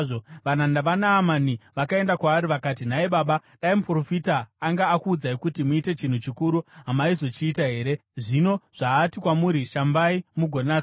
Varanda vaNaamani vakaenda kwaari vakati, “Nhai baba, dai muprofita anga akuudzai kuti muite chinhu chikuru, hamaizochiita here? Zvino zvaati kwamuri, ‘Shambai mugonatswa!’ ”